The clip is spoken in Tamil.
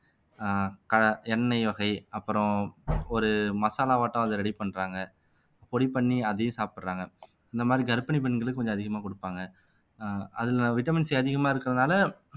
ஆஹ் க எண்ணெய் வகை அப்புறம் ஒரு மசாலாவாட்டம் அதை ready பண்றாங்க பொடி பண்ணி அதையும் சாப்பிடுறாங்க இந்த மாதிரி கர்ப்பிணி பெண்களுக்கு கொஞ்சம் அதிகமா கொடுப்பாங்க ஆஹ் அதுல வைட்டமின் C அதிகமா இருக்கிறதுனால